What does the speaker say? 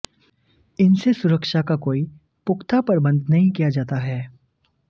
इनसे सुरक्षा का कोई पुख्ता प्रबंध नहीं किया जाता है